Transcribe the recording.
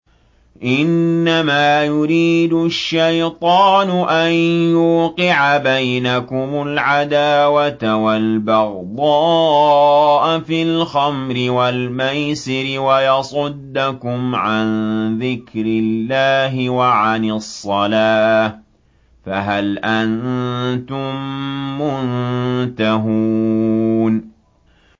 إِنَّمَا يُرِيدُ الشَّيْطَانُ أَن يُوقِعَ بَيْنَكُمُ الْعَدَاوَةَ وَالْبَغْضَاءَ فِي الْخَمْرِ وَالْمَيْسِرِ وَيَصُدَّكُمْ عَن ذِكْرِ اللَّهِ وَعَنِ الصَّلَاةِ ۖ فَهَلْ أَنتُم مُّنتَهُونَ